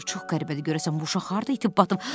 Çox qəribədir, görəsən bu uşaq harda itib batıb?